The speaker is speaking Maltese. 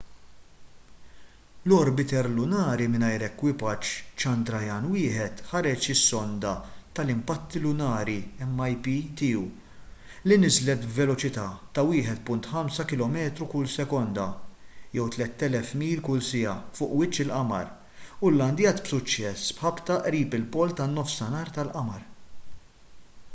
l-orbiter lunari mingħajr ekwipaġġ chandrayaan-1 ħareġ is-sonda tal-impatti lunari mip tiegħu li niżlet b'veloċità ta' 1.5 kilometru kull sekonda 3,000 mil kull siegħa fuq wiċċ il-qamar u llandjat b'suċċess b'ħabta qrib il-pol tan-nofsinhar tal-qamar